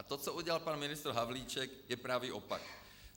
A to, co udělal pan ministr Havlíček, je pravý opak.